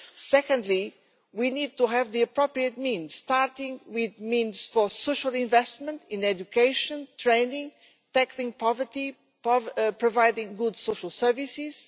Secondly, we need to have the appropriate means, starting with the means for social investment in education, training, tackling poverty and providing good social services.